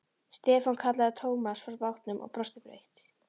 Stefán kallaði Thomas frá bátnum og brosti breitt.